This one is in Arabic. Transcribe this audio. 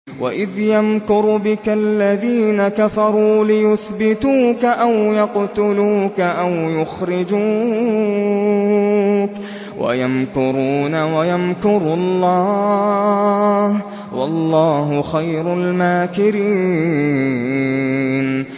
وَإِذْ يَمْكُرُ بِكَ الَّذِينَ كَفَرُوا لِيُثْبِتُوكَ أَوْ يَقْتُلُوكَ أَوْ يُخْرِجُوكَ ۚ وَيَمْكُرُونَ وَيَمْكُرُ اللَّهُ ۖ وَاللَّهُ خَيْرُ الْمَاكِرِينَ